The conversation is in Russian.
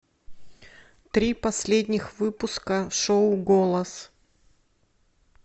три последних выпуска шоу голос